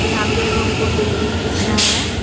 यहा पे एक हमको बिल्डिंग दिख रहा है।